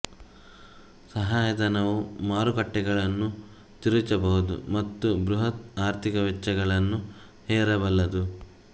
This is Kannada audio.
ಸಹಾಯಧನವು ಮಾರುಕಟ್ಟೆಗಳನ್ನು ತಿರುಚಬಹುದು ಮತ್ತು ಬೃಹತ್ ಆರ್ಥಿಕ ವೆಚ್ಚಗಳನ್ನು ಹೇರಬಲ್ಲದು